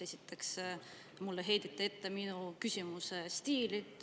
Esiteks, mulle heideti ette minu küsimuse stiili.